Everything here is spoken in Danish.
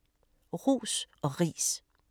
Ros og priser